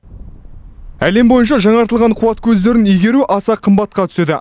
әлем бойынша жаңартылған қуат көздерін игеру аса қымбатқа түседі